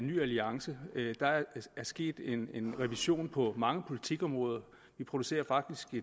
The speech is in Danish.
ny alliance der er sket en revision på mange politikområder vi producerer faktisk i